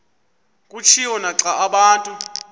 kutshiwo naxa abantu